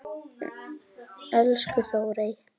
Elsku Þórey.